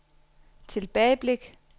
tilbageblik